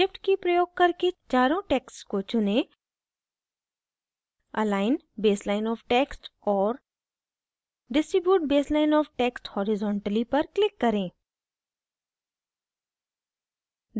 shift की प्रयोग करके चारों texts को चुनें